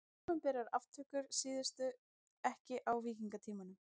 Opinberar aftökur tíðkuðust ekki á víkingatímanum.